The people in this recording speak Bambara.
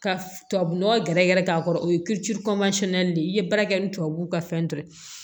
Ka tubabunɔgɔ gɛrɛ gɛrɛ k'a kɔrɔ o ye de ye i ye baara kɛ ni tubabuw ka fɛn dɔ ye